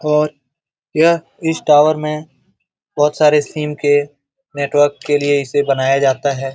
और यह इस टॉवर में बोहोत सारे सिम के नेटवर्क के लिए इसे बनाया जाता है।